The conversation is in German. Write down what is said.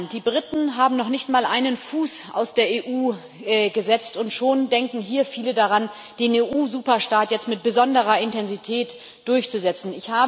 Die Briten haben noch nicht mal einen Fuß aus der EU gesetzt und schon denken hier viele daran, den EU-Superstaat jetzt mit besonderer Intensität durchzusetzen.